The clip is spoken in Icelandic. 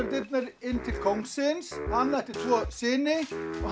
dyrnar inn til kóngsins hann ætti tvo syni og